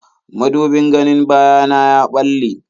Mudubin ganin baya na ya ɓalle.